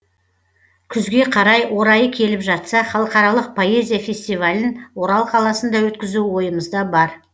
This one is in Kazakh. күзге қарай орайы келіп жатса халықаралық поэзия фестивалін орал қаласында өткізу ойымызда бар